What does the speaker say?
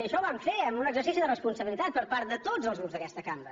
i això ho vam fer en un exercici de responsabilitat per part de tots els grups d’aquesta cambra